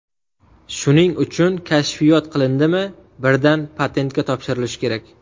Shuning uchun kashfiyot qilindimi, birdan patentga topshirilishi kerak.